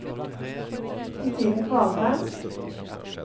Christine Kvalheim